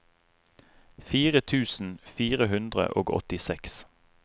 fire tusen fire hundre og åttiseks